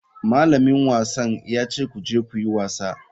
Malamin wasan ya ce ku je ku yi wasa.